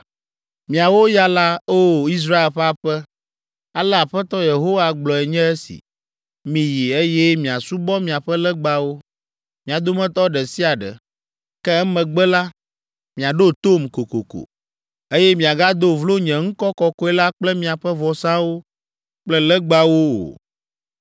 “Miawo ya la, O! Israel ƒe aƒe, ale Aƒetɔ Yehowa gblɔe nye esi. ‘Miyi, eye miasubɔ miaƒe legbawo, mia dometɔ ɖe sia ɖe. Ke emegbe la, miaɖo tom kokoko, eye miagado vlo nye ŋkɔ kɔkɔe la kple miaƒe vɔsawo kple legbawo o.